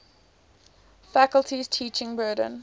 faculty's teaching burden